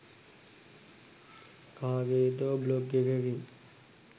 කාගෙදෝ blog එකකින්.